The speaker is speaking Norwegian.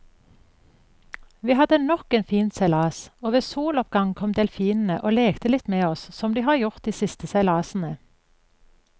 Vi hadde nok en fin seilas, og ved soloppgang kom delfinene og lekte litt med oss som de har gjort de siste seilasene.